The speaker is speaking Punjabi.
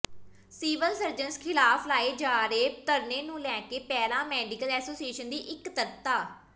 ਸਿਵਲ ਸਰਜਨ ਖ਼ਿਲਾਫ ਲਾਏ ਜਾ ਰਹੇ ਧਰਨੇ ਨੂੰ ਲੈ ਕੇ ਪੈਰਾ ਮੈਡੀਕਲ ਐਸੋਸੀਏਸ਼ਨ ਦੀ ਇਕੱਤਰਤਾ